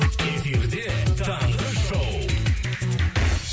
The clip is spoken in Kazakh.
эфирде таңғы шоу